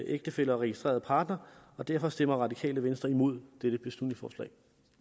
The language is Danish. ægtefæller og registrerede partnere og derfor stemmer det radikale venstre imod dette beslutningsforslag